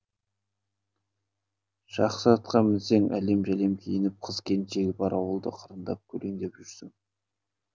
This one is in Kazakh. жақсы атқа мінесің әлем жәлем киініп қыз келіншегі бар ауылды қырындап көлеңдеп жүрсің